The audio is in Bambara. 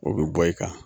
O bɛ bɔ i kan